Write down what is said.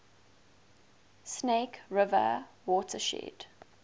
snake river watershed